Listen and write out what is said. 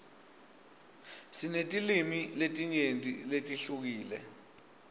sinetilwimi letinyenti letihlukile